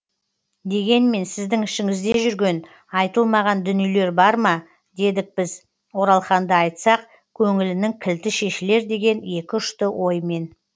дегенмен сіздің ішіңізде жүрген айтылмаған дүниелер бар ма дедік біз оралханды айтсақ көңілінің кілті шешілер деген екіұшты оймен